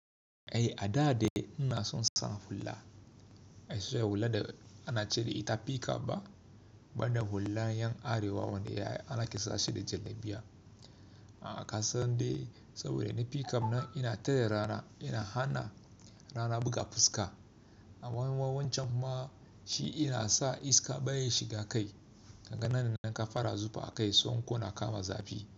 Eh a da dai ina son sam hula, sai hulla da ana ce da ita pickup ba, bana hullan yan Arewa wanda ana kisa shi da jan biya. A ka san dai saboda ni pickup na ina tare rana, ina hana rana buga fuska. A wannan wancan kuma shi ina sa iska baya shiga kai, ka ga nan da nan ka fara zufa a kai son ko na kama zafi.